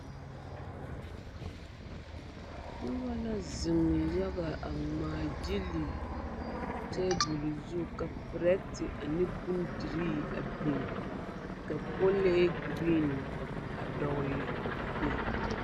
Noba la zeŋe yaga a ŋmaagyili tabol zu ka perɛte ane bondirii biŋ ka kɔlee girin a dɔgle a be.